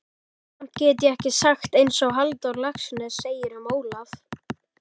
Samt get ég sagt einsog Halldór Laxness segir um Ólaf